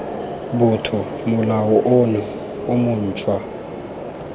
botho molao ono o montshwa